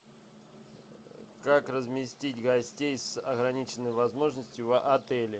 как разместить гостей с ограниченными возможностями в отеле